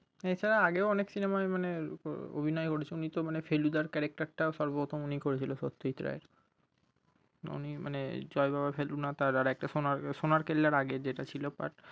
এছাড়া আগেও অনেক cinema ই মানে উহ অভিনয় করেছে উনি তো মানে ফেলুদার character টা সর্বোপ্রথম উনিই করেছিলেন উনি মানে জয় বাবা ভেলুনাথ আর একটা সোনা সোনার কেল্লার আগে যেটা ছিলো part